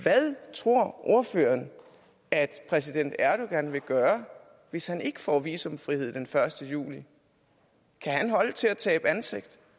tror ordføreren at præsident erdogan vil gøre hvis han ikke får visumfrihed den første juli kan han holde til at tabe ansigt